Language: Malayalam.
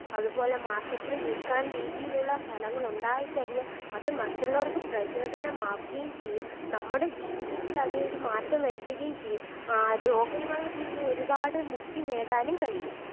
അതുപോലെ Market ൽ വിൽക്കാൻ രീതിയിലുള്ള ഫലങ്ങളുണ്ടായി കഴിഞ്ഞാൽ അത് മറ്റുള്ളവർക്ക് പ്രചോദനമാകുകയും ചെയ്യും നമ്മുടെ ജീവിതത്തിൽ അത് ഒരു മാറ്റം വരുത്തുകയും ചെയ്യും രോഗങ്ങളിൽ നിന്നും ഒരുപാട് മുക്തി നേടാനുംകഴിയും